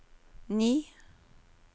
ni